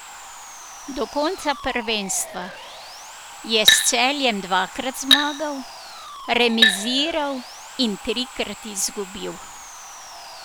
Do konca prvenstva je s Celjem dvakrat zmagal, remiziral in trikrat izgubil.